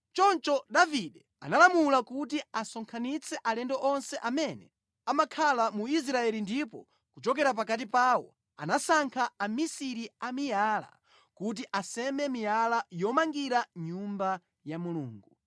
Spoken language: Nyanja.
Choncho Davide analamula kuti asonkhanitse alendo onse amene amakhala mu Israeli ndipo kuchokera pakati pawo anasankha amisiri a miyala kuti aseme miyala yomangira nyumba ya Mulungu.